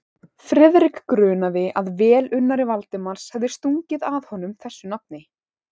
Friðrik grunaði, að velunnari Valdimars hefði stungið að honum þessu nafni.